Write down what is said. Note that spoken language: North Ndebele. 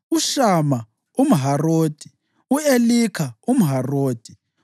uShama umHarodi, u-Elika umHarodi,